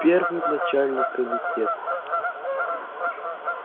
первый начальник комитета